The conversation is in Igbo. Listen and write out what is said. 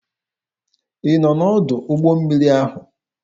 Ị nọ n'ọdụ ụgbọ mmiri ahụ?